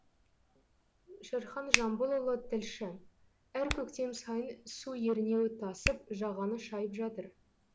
шерхан жамбылұлы тілші әр көктем сайын су ернеуі тасып жағаны шайып жатыр